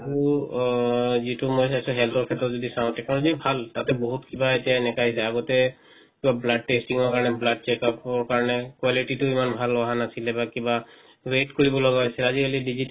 আৰু যেটো মই health ৰ খেত্ৰত যদি চাও technology ভাল তাতে বহুত কিবা এতিয়া এনেকা আহিছে আগতে কিবা blood testing ৰ কাৰণে blood check up ৰ কাৰণে quality টু ইমান ভাল অহা নাছিলে বা কিবা wait কৰিব লগা হইছে আজি-কালি digital